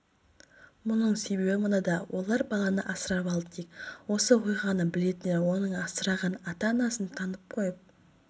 мұның себебі мынада олар баланы асырап алды дейік осы оқиғаны білетіндер оның асыраған ата-анасын танып қойып